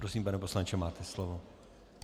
Prosím, pane poslanče, máte slovo.